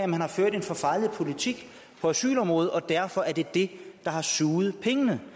man har ført en forfejlet politik på asylområdet og derfor er det det der har suget pengene